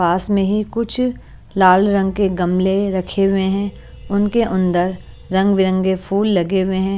पास में ही कुछ लाल रंग के गमले रखे हुए हैं उनके अन्दर रंग-बिरंगे फूल लगे हुए हैं।